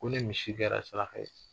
Ko ni misi kɛra saraka ye.